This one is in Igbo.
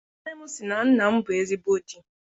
Nne m sị na nna m bụ ezigbo di.